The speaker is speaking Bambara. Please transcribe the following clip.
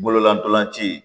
Bololadolanci